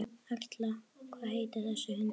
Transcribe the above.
Erla: Hvað heitir þessi hundur?